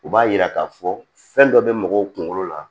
U b'a yira k'a fɔ fɛn dɔ be mɔgɔw kunkolo la